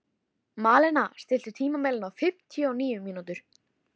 Malena, stilltu tímamælinn á fimmtíu og níu mínútur.